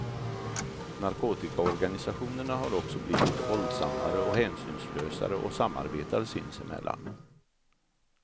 Narkotikaorganisationerna har också blivit våldsammare och hänsynslösare och samarbetar sinsemellan.